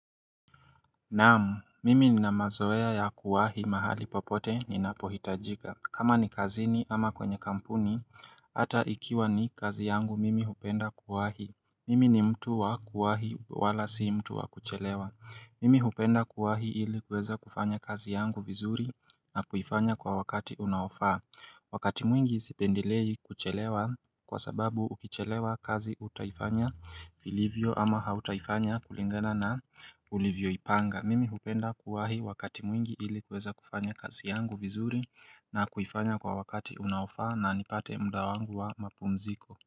Naam, mimi ni na mazoea ya kuwahi mahali popote ni napohitajika. Kama ni kazini ama kwenye kampuni, hata ikiwa ni kazi yangu mimi hupenda kuwahi. Mimi ni mtu wa kuwahi wala si mtu wa kuchelewa. Mimi hupenda kuwahi ili kuweza kufanya kazi yangu vizuri na kufanya kwa wakati unaofaa. Wakati mwingi sipendelei kuchelewa kwa sababu ukichelewa kazi utaifanya vilivyo ama hautaifanya kulingana na ulivyo ipanga Mimi hupenda kuwahi wakati mwingi ili kuweza kufanya kazi yangu vizuri na kuifanya kwa wakati unaofa na nipate muda wangu wa mapumziko.